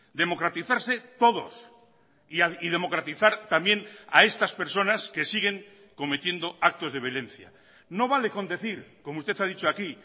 democratizarse todos y democratizar también a estas personas que siguen cometiendo actos de violencia no vale con decir como usted ha dicho aquí